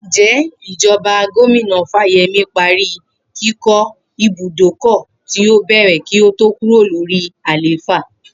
Ǹjé̩ ìjo̩ba Gómìnà Fáye̩mí parí kíkó̩ ibùdókò̩ tí ó bè̩rè̩ kí ó tó kúrò lórí àléfà?